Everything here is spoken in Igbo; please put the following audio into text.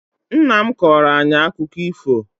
Nnam kọọro ayi akụkọ ifo